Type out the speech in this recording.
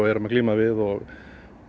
erum að glíma við og